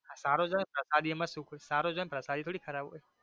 સારો જ આવે ને પ્રસાદી માં સુખદો સારો જ હોઈ ને પ્રસાદી થોડી ખરાબ હોઈ.